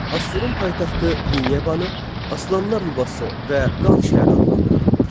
Assurun paytaxtı Ninevanı aslanlar yuvası və qan şəhəri adlandırırdılar.